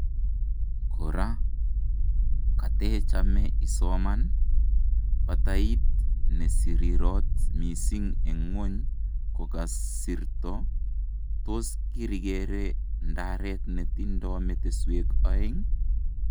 Kora katechame isomaan :Batayiit 'nesirirot missing' en ngwony kokasirto tos kirikeree ndareet netindo metisweek aeng?